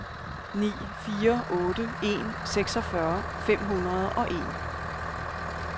ni fire otte en seksogfyrre fem hundrede og en